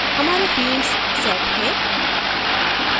हमारे fields set हैं